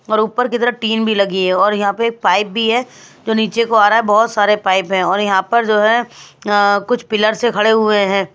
और ऊपर की तरफ टीन भी लगी है और यहाँ पे एक पाइप भी है जो नीचे को आ रहा है बहुत सारे पाइप हैं और यहाँ पर जो है अ कुछ पिलर से खड़े हुए हैं।